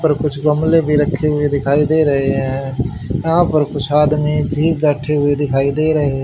पर कुछ गमले भी रखे हुए दिखाई दे रहे हैं यहां पर कुछ आदमी भी बैठे दिखाई दे रहे --